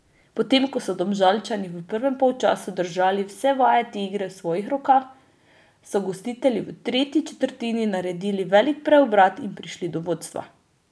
Potem ko so Domžalčani v prvem polčasu držali vse vajeti igre v svojih rokah, so gostitelji v tretji četrtini naredili velik preobrat in prišli do vodstva.